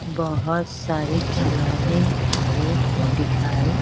बहुत सारे खिलौने भी दिखाई--